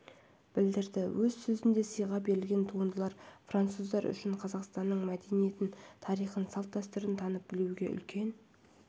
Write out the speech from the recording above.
білдірді өз сөзінде сыйға берілген туындылар француздар үшін қазақстанның мәдениетін тарихын салт-дәстүрін танып білуге үлкен